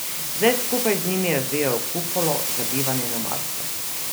Zdaj skupaj z njimi razvijajo kupolo za bivanje na Marsu.